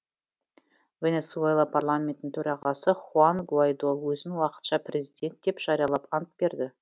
венесуэла парламентінің төрағасы хуан гуаидо өзін уақытша президент деп жариялап ант берді